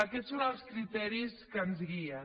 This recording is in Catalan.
aquests són els criteris que ens guien